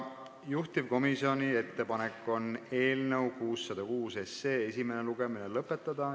Juhtivkomisjoni ettepanek on eelnõu 606 esimene lugemine lõpetada.